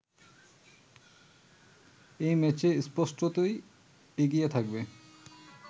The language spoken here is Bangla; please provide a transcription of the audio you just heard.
এই ম্যাচে স্পষ্টতই এগিয়ে থাকবে